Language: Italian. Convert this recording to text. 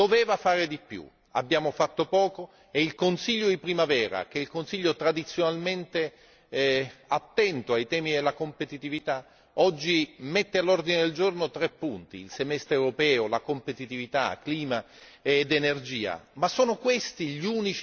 L'Europa probabilmente doveva fare di più, abbiamo fatto poco e il Consiglio di primavera che è il Consiglio tradizionalmente attento ai temi della competitività oggi mette all'ordine del giorno tre punti il Semestre europeo, la competitività, clima ed energia.